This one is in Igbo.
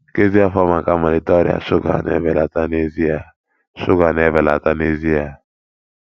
nkezi afọ maka mmalite ọrịa shuga na-ebelata n'ezie shuga na-ebelata n'ezie